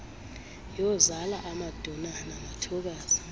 yozala amaduna namathokazi